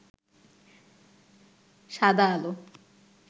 সাদা আলো